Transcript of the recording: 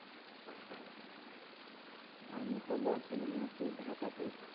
আমি তো বর্তমানে আছি ঢাকাতে।